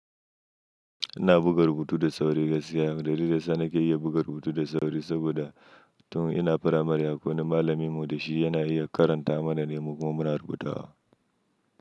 Ina buga rubutu da sauri gaskiya. Dalilin da zan iya buga rubutu da sauri saboda tun ina firamare, akwai wani malamin mu da shi yana iya karanta manane mu kuma muna rubuta wa.